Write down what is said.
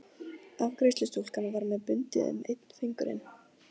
Afgreiðslustúlkan var með bundið um einn fingurinn.